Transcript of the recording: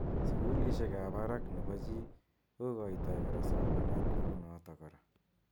Sukulishek ab barak ne po chii kokotoi kora somanet neu notok kora.